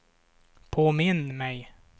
påminn mig